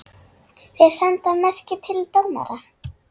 Þeir senda merki til dómara.